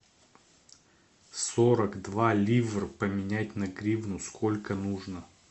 сорок два ливр поменять на гривну сколько нужно